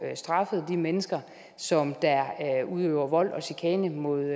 straffet de mennesker som der udøver vold og chikane mod